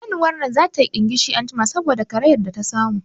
Shanun nan dole za tayi ɗingishi anjima saboda karayar da ta samu